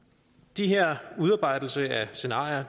de her udarbejdelser af scenarier